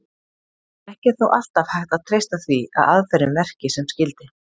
Ekki er þó alltaf hægt að treysta því að aðferðin verki sem skyldi.